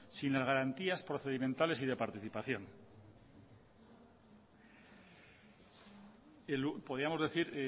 sin las garantías procedimentales y de participación podíamos decir